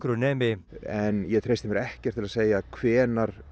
nemi en ég treysti mér ekkert til að segja hvenær